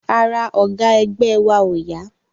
Ara ọ̀gá ẹgbẹ́ wa ò yá